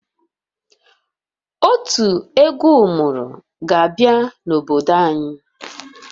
Otu egwu ụmụrụ ga-abịa n'obodo anyị